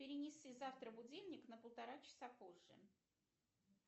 перенеси завтра будильник на полтора часа позже